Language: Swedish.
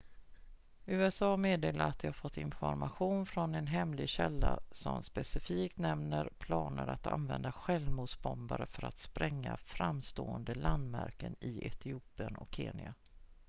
"usa meddelar att de har fått information från en hemlig källa som specifikt nämner planer att använda självmordsbombare för att spränga "framstående landmärken" i etiopien och kenya.